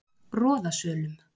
Roðasölum